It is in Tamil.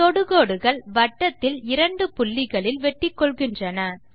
தொடுகோடுகள் வட்டத்தில் இரண்டு புள்ளிகளில் வெட்டிக்கொள்கின்றன